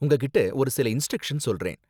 உங்ககிட்ட ஒரு சில இன்ஸ்ட்ரக்ஷன் சொல்றேன்.